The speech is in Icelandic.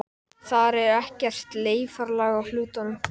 Þar er ekkert sleifarlag á hlutunum.